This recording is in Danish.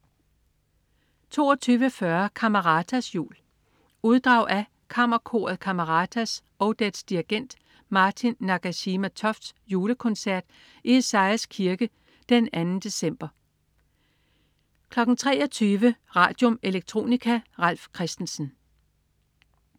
22.40 Cameratas jul. Uddrag af Kammerkoret Cameratas og dets dirigent Martin Nagashima Tofts julekoncert i Esajas Kirke d. 2. december 23.00 Radium. Electronica. Ralf Christensen